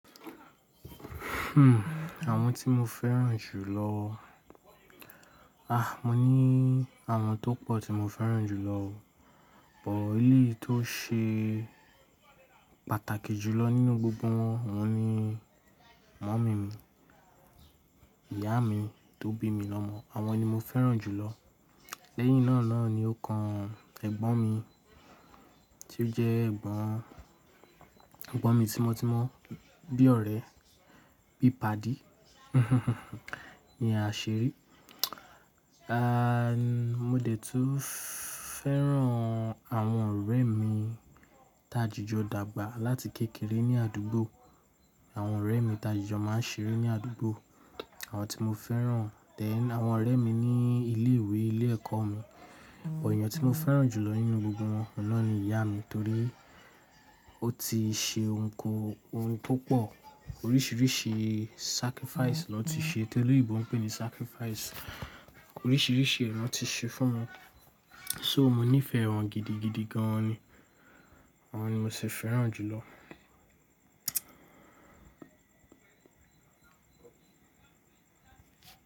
Hmm àwọn tí mo fẹ́ràn jù lọ. Mo ní àwọn tó pọ̀ tí mo fẹ́ràn jù lọ, but eleyi to ṣe pàtàkì jù lọ nínú gbogbo wọn ni mummy mi, ìyá mi tó bí mi lọ́mọ. Àwọn ni mo fẹ́ràn jù lọ. Lẹ́yìn náà náà ni ó kan ẹ̀gbọ́n mi tí ó jẹ́ ẹ̀gbọ́n, ẹ̀gbọ́n mi tímọ́tímọ́ bí ọ̀rẹ́, bí paadi ni a ṣe ri Mo dẹ̀ tún fẹ́ràn àwọn ọ̀rẹ́ mi ti a di jọ dàgbà láti kékeré ní àdúgbò. Àwọn ọ̀rẹ́ mi tají jọ máa ń ṣeré ní àdúgbò, àwọn tí mo fẹ́ràn. Then àwọn ọ̀rẹ́ mi ní ilé ìwé ilé ẹ̀kọ́ mi. Eeyan tí mo fẹ́ràn jù lọ nínú gbogbo won náà ni ìyá mi torí ó ti ṣe ohun kan, ohun tó pọ̀. Oríṣiríṣi sacrifice ló ti ṣe ti oliyinbọ̀ ń pè ní sacrifice. Oríṣiríṣi e lo ti ṣe fún mi, so, mo nífẹ̀ẹ́ wọn gidigidi gan ni. Awọ́n ni mo ṣi fẹ́ràn jù lọ.